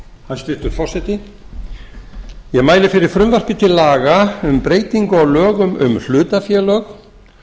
hæstvirtur forseti ég mæli fyrir frumvarpi til laga um breytingu á lögum um hlutafélög